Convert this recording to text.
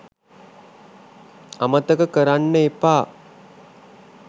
අමතක කරන්න එපා